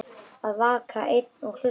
Að vaka einn og hlusta